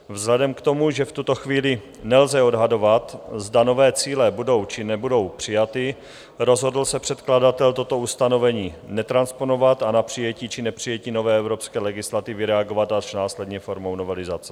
Vzhledem k tomu, že v tuto chvíli nelze odhadovat, zda nové cíle budou, či nebudou přijaty, rozhodl se předkladatel toto ustanovení netransponovat a na přijetí či nepřijetí nové evropské legislativy reagovat až následně formou novelizace.